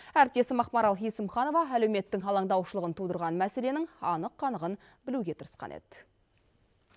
әріптесім ақмарал есімханова әлеуметтің алаңдаушылығын тудырған мәселенің анық қанығын білуге тырысқан еді